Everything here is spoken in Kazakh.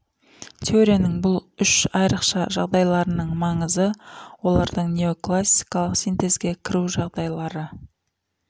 теорияның бұл үш айрықша жағдайларының маңызы олардың неоклассикалық синтезге кіру жағдайлары